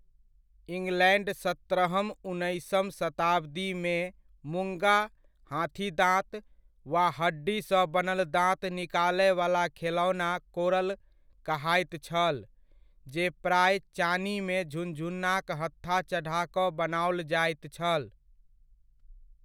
England सत्रहम उन्नैसम शताब्दीमे मुङ्गा, हाथीदाँत वा हड्डीसँ बनल दाँत निकालयवला खेलौना कोरल कहाइत छल, जे प्राय चानीमे झुनझुनाक हत्था चढ़ा कऽ बनाओल जाइत छल।